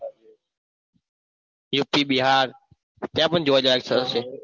UP Bihar ત્યાં પણ જોવાલાયક સ્થળો છે.